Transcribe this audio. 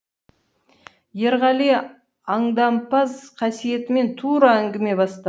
ерғали аңдампаз қасиетімен тура әңгіме баста